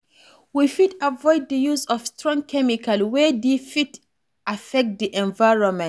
We fit avoid di use of strong chemical wey fit affect di environment